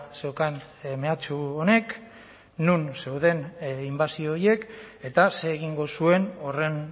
zeukan mehatxu honek non zeuden inbasio horiek eta zer egingo zuen horren